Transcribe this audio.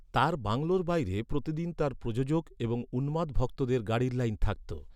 তার বাংলোর বাইরে প্রতিদিন তার প্রযোজক এবং উন্মাদ ভক্তদের গাড়ির লাইন থাকত।